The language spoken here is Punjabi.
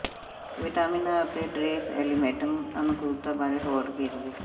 ਵਿਟਾਮਿਨਾਂ ਅਤੇ ਟਰੇਸ ਐਲੀਮੈਂਟਸ ਦੀ ਅਨੁਕੂਲਤਾ ਬਾਰੇ ਹੋਰ ਵੇਰਵੇ